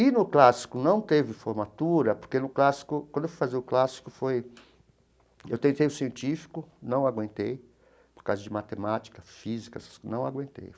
E no clássico não teve formatura, porque no clássico, quando eu fui fazer o clássico foi, eu tentei o científico, não aguentei, por causa de matemática, física, não aguentei.